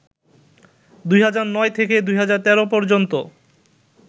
২০০৯ থেকে ২০১৩ পর্যন্ত